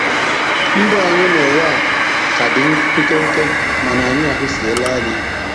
Ndụ anyị n'ụwa a ka dị nkenke mana anyị ahụsiela anya.